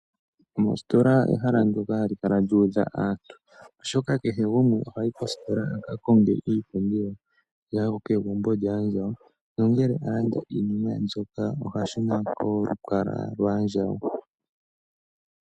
Mositola ehala ndyoka hali lyuudha aantu oshoka kehe gumwe ohayi aka konge oompumbwe dhokegumbo lyaandjawo. Ngele alanda oompumbwe dhaandjawo ohashuna kolukalwa lwaandjawo.